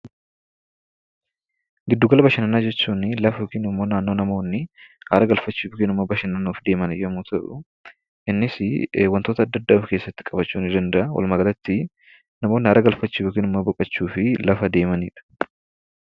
Giddu gala bashannanaa jechuun lafa yookaan immoo naannoo namoonni aara galfachuuf yookaan bashannanuuf deeman yeroo ta'u, innis wantoota adda addaa of keessatti qabachuu danda’a. Walumaa galatti namoonni boqochuu fi aara gakfachuuf lafa deemanidha.